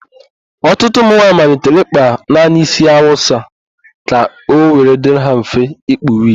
Ọtụtụ ụmụnwaayị malitere ịkpa naanị ísí Awụsa ka ọ were dịrị ha mfe ikpu wigi.